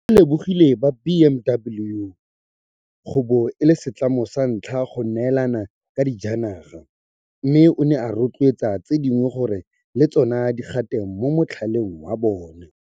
O lebogile ba BMW go bo e le setlamo sa ntlha go neelana ka dijanaga, mme o ne a rotloetsa tse dingwe gore le tsona di gate mo motlhaleng wa bona.